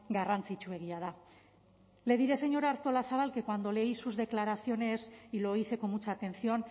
garrantzitsuegia da le diré señora artolazabal que cuando leí sus declaraciones y lo hice con mucha atención